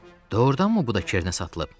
Doğrudanmı bu da Kernə satılıb?